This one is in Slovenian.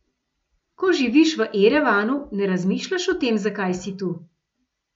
Ko živiš v Erevanu, ne razmišljaš o tem, zakaj si tu.